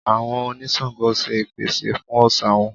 Àwọn oní Ṣàǹgó ṣe ìpèsè fún òòṣà wọn.